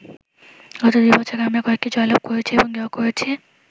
গত দুই বছরে আমরা কয়েকটি জয়লাভ করেছি এবং ড্র করেছি।